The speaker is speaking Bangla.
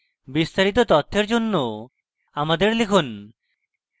বিস্তারিত তথ্যের জন্য আমাদের লিখুন